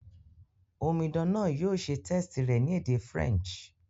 Omidan náà yio se test rẹ̀ ni èdè French